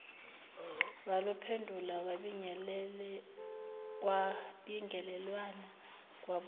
waluphendula kwabingelelwana kwabuzwana